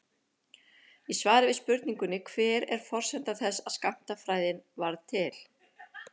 Í svari við spurningunni Hver er forsenda þess að skammtafræðin varð til?